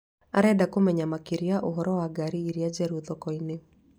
Arenda kũmenya makĩria ũhoro wa ngaari iria njerũ thoko-inĩ.